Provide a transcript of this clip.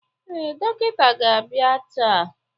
Ee, dọkịta ga-abịa taa.